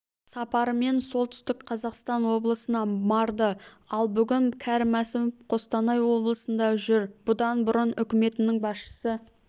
сапарымен солтүстік қазақстаноблысына барды ал бүгін кәрім мәсімов қостанай облысында жүр бұдан бұрын үкіметінің басшысы